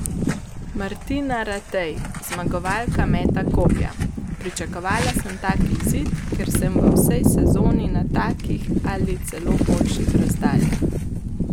Martina Ratej, zmagovalka meta kopja: "Pričakovala sem tak izid, ker sem v vsej sezoni na takih ali celo boljših razdaljah.